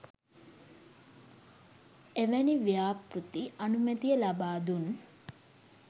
එවැනි ව්‍යාපෘති අනුමැතිය ලබා දුන්